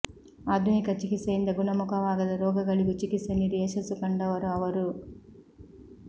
ಆಧುನಿಕ ಚಿಕಿತ್ಸೆಯಿಂದ ಗುಣಮುಖವಾಗದ ರೋಗಗಳಿಗೂ ಚಿಕಿತ್ಸೆ ನೀಡಿ ಯಶಸ್ಸು ಕಂಡವರು ಅವರು